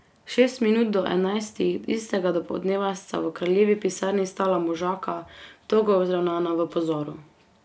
Šest minut do enajstih tistega dopoldneva sta v kraljevi pisarni stala možaka, togo vzravnana v pozoru.